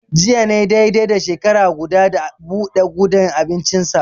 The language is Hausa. Jiya ne dai dai da shekara guda, da buɗe gudan abincinsa.